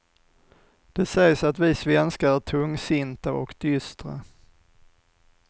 Det sägs att vi svenskar är tungsinta och dystra.